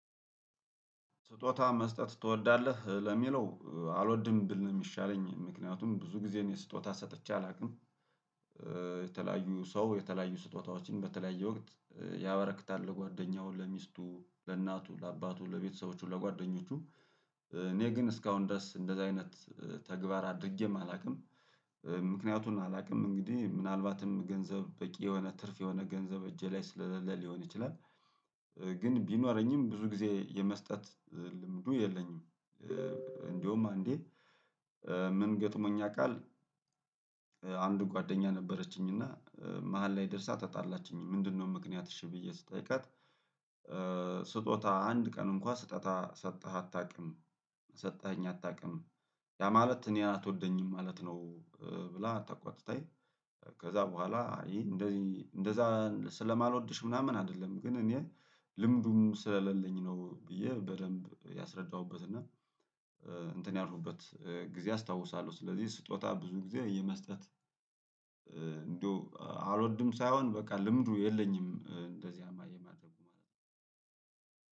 ስጦታ መስጠት ትወዳለህ ለሚለው አልወድም ብል ነው ሚሻለኝ ምክንያቱም ብዙ ግዜ እኔ ስጦታ ሰጥቼ አላቅም። የተለያዩ ሰው የተለያዩ ስጦታዎችን በተለያየ ወቅት ያበረክታል ለጓደኛው ለሚስቱ ለእናቱ ለአባቱ ለቤተሰቦቹ ለጓደኞቹ። እኔ ግን እስካሁን ድረስ እንደዛ አይነት ተግባር አድርጌም አላቅም። ምክንያቱን አላቅም እንግዲህ ምናልባትም ገንዘብ በቂ የሆነ ትርፍ የሆነ ገንዘብ እጄ ላይ ስላለ ሊሆን ይችላል። ግን ቢኖረኝም ብዙ ግዜ የመስጠት ልምዱ የለኝም። እንደውም አንዴ ምን ገጥሞኛ ያቃል። አንድ ጓደኛ ነበረችኝ እና መሃል ላይ ደርሳ ተጣላችኝ። ምንድነው ምክንያትሽ እሺ ብዬ ስጠይቃት። ስጦታ አንድ ቀን እንኳ ስጦታ ሰተህ አታቅም ሰጠኸኝ አታቅም? ያ ማለት እኔን አትወደኝም ማለት ነው። ብላ ተቆጥተኝ። ከዛ በኋላ እሄ እንደዛ ስለማልወድሽ ምናምን አደለም ግን እኔ ልምዱም ስለለኝ ነው። ብዬ በደንብ ያስረዳሁበት እና እንትን ያልኩበት ግዜ አስታውሳለሁ። ስለዚህ ስጦታ ብዙ ግዜ የመስጠት እንደው አልወድም ሳይሆን በቃ ልምዱ የለኝም እንደዚያም የማድርጉ ማለት ነው።